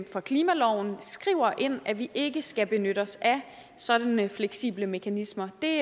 for klimaloven skriver ind at vi ikke skal benytte os af sådanne fleksible mekanismer det